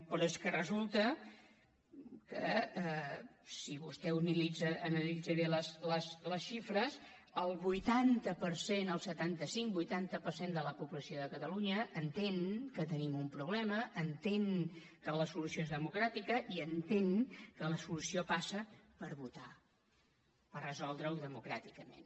però és que resulta que si vostè analitza bé les xifres el vuitanta per cent el setanta cinc vuitanta per cent de la població de catalunya entén que tenim un problema entén que la solució és democràtica i entén que la solució passa per votar per resoldre ho democràticament